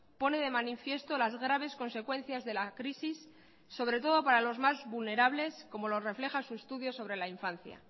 pone de manifiesto las graves consecuencias de la crisis sobre todo para los más vulnerables como lo refleja su estudio sobre la infancia